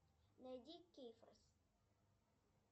найди кейфорс